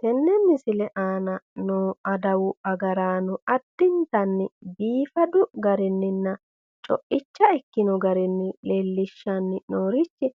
Tenne misile aana noo adawu agaraano addintanni biifadu garinninna coicha ikkino garinni leellishshanni noorichi